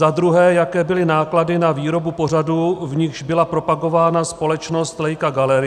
Za druhé: Jaké byly náklady na výrobu pořadů, v nichž byla propagována společnost Leica Gallery?